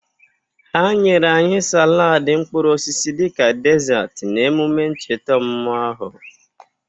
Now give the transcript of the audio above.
Ha nyere anyị salaadị mkpụrụosisi dịka desarti n' emume ncheta ọmụmụ ahụ.